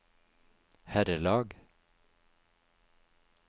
herrelag